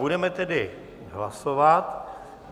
Budeme tedy hlasovat.